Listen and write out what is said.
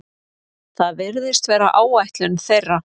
Það virðist vera áætlun þeirra